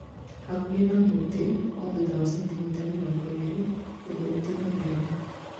hakuhĩ na mũtĩ o thutha wa centimita mĩrongo ĩrĩ. Ũndũ ũtigagĩrĩra